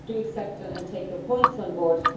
I do accept and take your points on board.